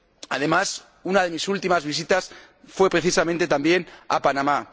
Además, una de mis últimas visitas fue, precisamente, a Panamá.